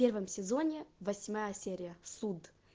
первом сезоне восьмая серия суд